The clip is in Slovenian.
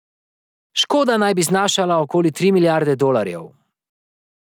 Škoda naj bi znašala okoli tri milijarde dolarjev.